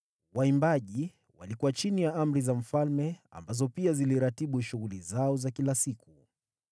Waimbaji walikuwa chini ya amri za mfalme, ambazo pia ziliratibu shughuli zao za kila siku.